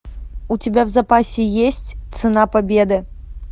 у тебя в запасе есть цена победы